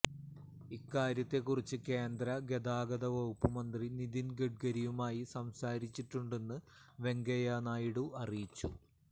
ഇക്കാര്യത്തെ കുറിച്ച് കേന്ദ്ര ഗതാഗത വകുപ്പ് മന്ത്രി നിതിന് ഗഡ്കരിയുമായി സംസാരിച്ചിട്ടുണ്ടെന്നും വെങ്കയ്യ നായിഡു അറിയിച്ചു